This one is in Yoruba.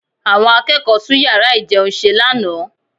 Àwọn akẹ́kọ̀ọ́ tún yàrá ìjẹun ṣe lánàá